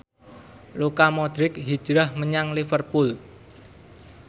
Luka Modric hijrah menyang Liverpool